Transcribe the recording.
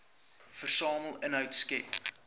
versamel inhoud skep